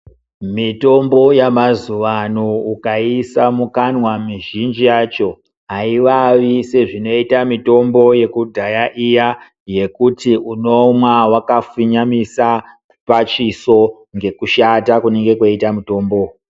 Mitombo yemazuwa ano ukaiisa mukanwa mizhinji yacho aiwawi sezvinoita mitombo yekudhaya iya yekuti unomwa wakafinyamisa pachiso ngekushata kunenge kweiita mutombo.